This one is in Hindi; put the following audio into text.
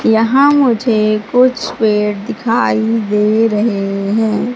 यहां मुझे कुछ पेड़ दिखाई दे रहे हैं।